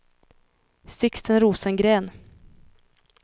Sixten Rosengren